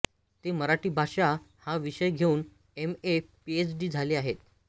ते मराठी भाषा हा विषय घेऊन एम ए पीएच डी झाले आहेत